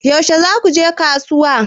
Yaushe za ku je kasuwa?